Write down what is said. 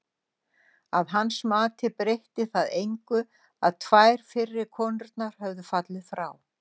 Að hans mati breytti það engu að tvær fyrri konurnar höfðu fallið frá.